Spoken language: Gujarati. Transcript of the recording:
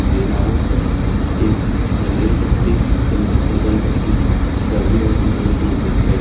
જેના ઉપર એક મીણબત્તી અને એક અગરબત્તી સળગી રહ્યુ હોય એવું દેખાય છે.